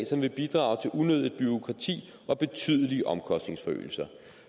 som vil bidrage til unødigt bureaukrati og betydelige omkostningsforøgelser